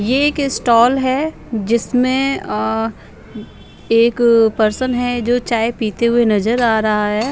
ये एक स्टॉल है जिसमें अअ एक पर्सन है जो चाय पीते हुए नजर आ रहा है।